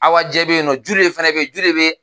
Awa jɛ bɛ ye nɔ Jule fɛnɛ bɛ ye Jule bɛ